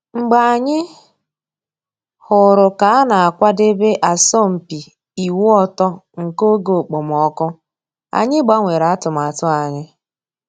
Mgbe anyị hụrụ ka a na akwadebe asọmpi ịwụ ọtọ nke oge okpomọkụ, anyị gbanwere atụmatụ anyị